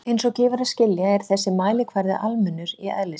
Eins og gefur að skilja er þessi mælikvarði almennur í eðli sínu.